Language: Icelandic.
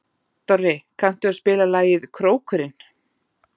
Dorri, kanntu að spila lagið „Krókurinn“?